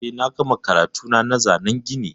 Eh, na gama karatuna na zanan gini.